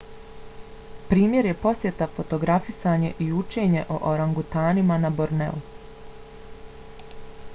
primjer je posjeta fotografisanje i učenje o orangutanima na borneu